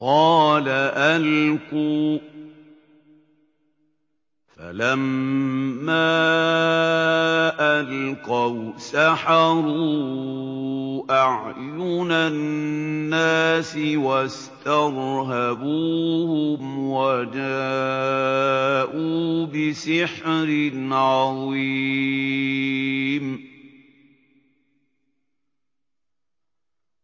قَالَ أَلْقُوا ۖ فَلَمَّا أَلْقَوْا سَحَرُوا أَعْيُنَ النَّاسِ وَاسْتَرْهَبُوهُمْ وَجَاءُوا بِسِحْرٍ عَظِيمٍ